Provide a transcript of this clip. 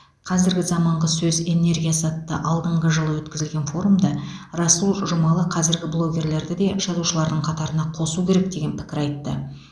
қазіргі заманғы сөз энергиясы атты алдыңғы жылы өткізілген форумда расул жұмалы қазіргі блогерлерді де жазушылардың қатарына қосу керек деген пікір айтты